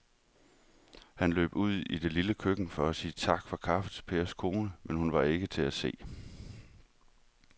Han løb ud i det lille køkken for at sige tak for kaffe til Pers kone, men hun var ikke til at se.